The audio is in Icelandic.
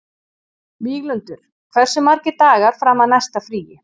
Víglundur, hversu margir dagar fram að næsta fríi?